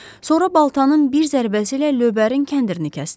Sonra baltanın bir zərbəsi ilə lövbərin kəndirini kəsdi.